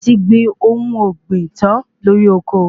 A ti gbìn ohun ọ̀gbìn tan lórí oko